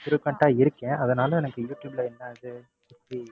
frequent ஆ இருக்கேன். அதனால எனக்கு யூடுயூப்ல என்னது, எப்படி